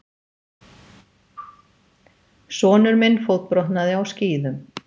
Sonur minn fótbrotnaði á skíðum.